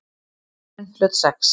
Eiðurinn hlaut sex.